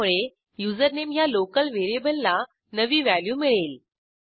ह्यामुळे युझरनेम ह्या लोकल व्हेरिएबलला नवी व्हॅल्यू मिळेल